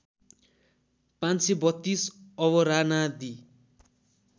५३२ अवरानादि